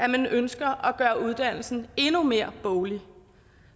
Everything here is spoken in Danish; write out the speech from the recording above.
man ønsker at gøre uddannelsen endnu mere boglig